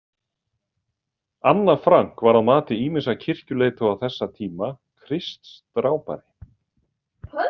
Anna Frank var að mati ýmissa kirkjuleiðtoga þessa tíma „Kristsdrápari“.